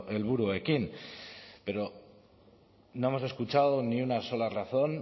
helburuekin pero no hemos escuchado ni una sola razón